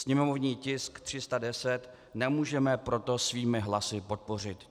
Sněmovní tisk 310 nemůžeme proto svými hlasy podpořit.